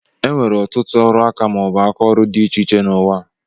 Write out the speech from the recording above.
Enwere ọtụtụ ọrụ aka maọbu aka ọrụ dị iche iche n'uwa a.